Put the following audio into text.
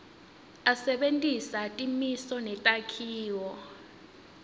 asebentisa timiso netakhiwo